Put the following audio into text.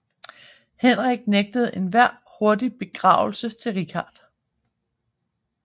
Henrik nægtede enhver hurtig begravelse til Richard